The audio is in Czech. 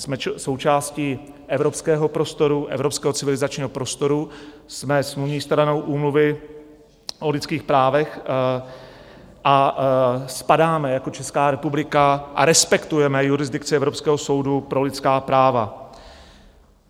Jsme součástí evropského prostoru, evropského civilizačního prostoru, jsme smluvní stranou Úmluvy o lidských právech a spadáme jako Česká republika a respektujeme jurisdikci Evropského soudu pro lidská práva.